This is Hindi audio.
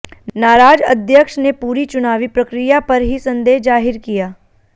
नाराज अध्यक्ष ने पूरी चुनावी प्रक्रिया पर ही संदेह जाहिर किया